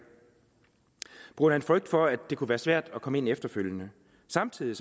på grund af en frygt for at det kunne være svært at komme ind efterfølgende samtidig